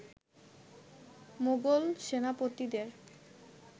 Mughal সেনাপতিদের